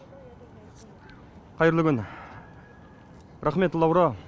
қайырлы күн рахмет лаура